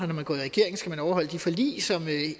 når man går i regering skal man overholde de forlig som